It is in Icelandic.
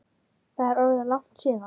Það er orðið langt síðan.